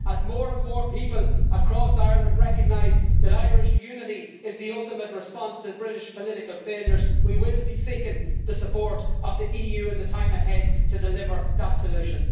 As more and more people across Ireland recognise that Irish unity is the ultimate response to British political failures, we will be seeking the support of the EU in the time ahead to deliver that solution.